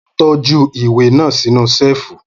Mo tọ́jú ìwé náà sínú Ṣẹ́ẹ̀fù